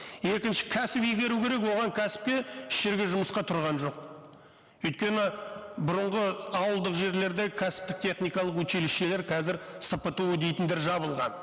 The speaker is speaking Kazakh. екінші кәсіби беру керек оған кәсіпке еш жерге жұмысқа тұрған жоқ өйткені бұрынғы ауылдық жерлерде кәсіптік техникалық училищелер қазір спту дейтіндер жабылған